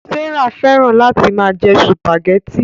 Sárà fẹ́ràn láti máa jẹ sùpàgẹ́tì